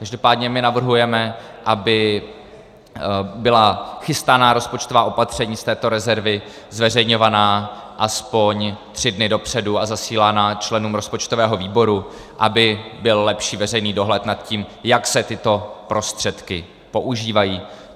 Každopádně my navrhujeme, aby byla chystaná rozpočtová opatření z této rezervy zveřejňována aspoň tři dny dopředu a zasílána členům rozpočtového výboru, aby byl lepší veřejný dohled na tím, jak se tyto prostředky používají.